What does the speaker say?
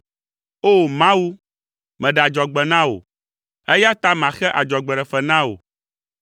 O! Mawu, meɖe adzɔgbe na wò, eya ta maxe adzɔgbeɖefe na wò.